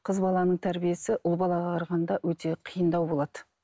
қыз баланың тәрбиесі ұл балаға қарағанда өте қиындау болады